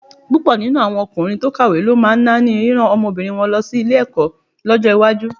Púpọ̀ nínú ọkùnrin tó kàwé ló máa náání rírán ọmọbìnrin wọn lọ sí ilé-ẹ̀kọ́ lọ́jọ́ iwájú.